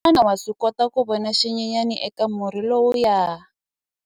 Xana wa swi kota ku vona xinyenyana eka murhi lowuya?